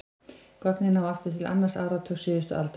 Gögnin ná aftur til annars áratugar síðustu aldar.